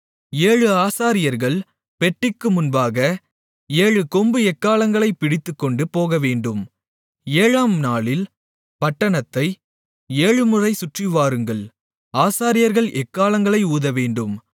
ஏழு ஆசாரியர்கள் பெட்டிக்கு முன்பாக ஏழு கொம்பு எக்காளங்களைப் பிடித்துக்கொண்டு போகவேண்டும் ஏழாம்நாளில் பட்டணத்தை ஏழுமுறை சுற்றிவாருங்கள் ஆசாரியர்கள் எக்காளங்களை ஊதவேண்டும்